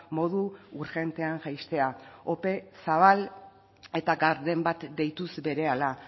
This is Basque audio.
modu urgentean jaistea ope zabal eta garden bat deituz berehala